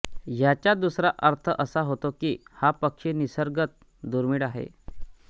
याचा दुसरा अर्थ असा होतो की हा पक्षी निसर्गत दुर्मीळ आहे